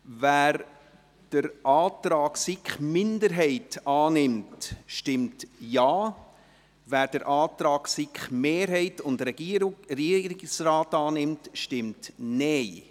Wer den Antrag der SiK-Minderheit annimmt, stimmt Ja, wer den Antrag von SiK-Mehrheit und Regierungsrat annimmt, stimmt Nein.